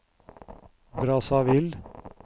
Brazzaville